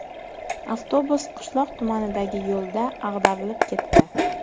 Avtobus qishloq tumanidagi yo‘lda ag‘darilib ketdi.